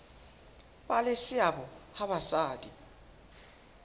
ba le seabo ha basadi